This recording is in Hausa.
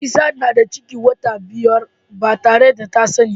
Nefisat na da ciki wata biyar ba tare da ta sani ba